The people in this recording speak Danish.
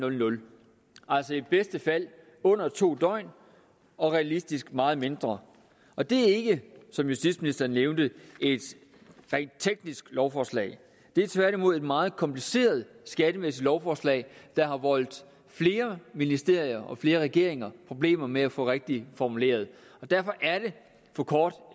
altså i bedste fald under to døgn og realistisk set meget mindre og det er ikke som justitsministeren nævnte et rent teknisk lovforslag det er tværtimod et meget kompliceret skattemæssigt lovforslag der har voldt flere ministerier og flere regeringer problemer med at få det rigtigt formuleret derfor er det for kort